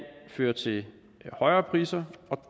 føre til højere priser og